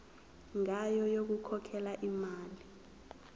ngayo yokukhokhela imali